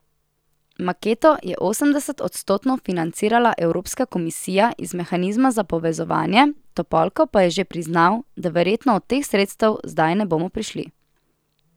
Maketo je osemdesetodstotno financirala evropska komisija iz mehanizma za povezovanje, Topolko pa je že priznal, da verjetno do teh sredstev zdaj ne bomo prišli.